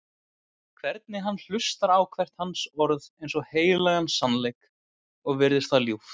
Hvernig hann hlustar á hvert hans orð eins og heilagan sannleik, og virðist það ljúft.